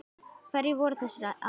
Hverjir voru þessir aðilar?